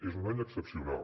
és un any excepcional